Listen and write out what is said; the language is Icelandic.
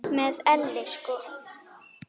Með elli sko.